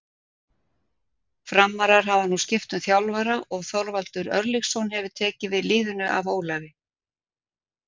Framarar hafa nú skipt um þjálfara og Þorvaldur Örlygsson hefur tekið við liðinu af Ólafi.